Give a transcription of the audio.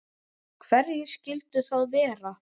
Hverjir skyldu það vera?